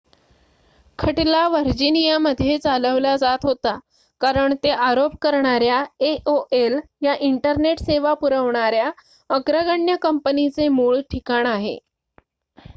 खटला व्हर्जिनियामध्ये चालवला जात होता कारण ते आरोप करणाऱ्या aol या इंटरनेट सेवा पुरवणाऱ्या अग्रगण्य कंपनीचे मूळ ठिकाण आहे